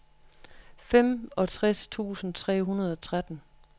femogtres tusind tre hundrede og tretten